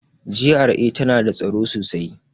GRA tana da tsaro sosai.